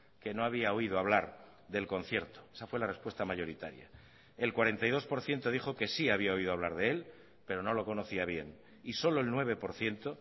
que no había oído hablar del concierto esa fue la respuesta mayoritaria el cuarenta y dos por ciento dijo que sí había oído hablar de él pero no lo conocía bien y solo el nueve por ciento